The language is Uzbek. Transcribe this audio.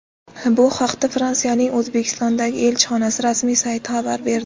Bu haqda Fransiyaning O‘zbekistondagi elchixonasi rasmiy sayti xabar berdi .